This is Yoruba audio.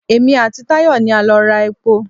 Èmi àti Tàyọ̀ ni a lọ ra epo.